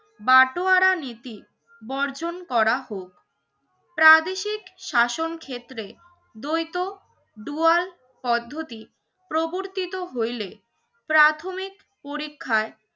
বাটোয়ারা নীতি বর্জন করা হোক। প্রাদেশিক শাসন ক্ষেত্রে দ্বৈত দুয়াল পদ্ধতি প্রবর্তিত হইলে প্রাথমিক পরীক্ষায়